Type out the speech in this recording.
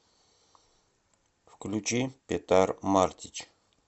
включи петар мартич